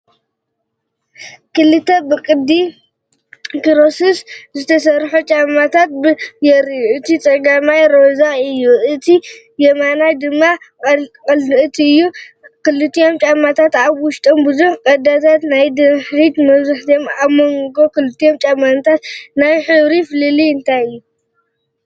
ክልተ ብቅዲ ክሮክስ ዝተሰርሑ ጫማታት የርኢ። እቲ ጸጋማይ ጫማ ሮዛ እዩ፡ እቲ የማናይ ድማ ቀጠልያ እዩ። ክልቲኦም ጫማታት ኣብ ውሽጦም ብዙሕ ቀዳዳትን ናይ ድሕሪት መትሓዚን ኣለዎም። ኣብ መንጎ ክልቲኦም ጫማታት ዘሎ ናይ ሕብሪ ፍልልይ እንታይ እዩ?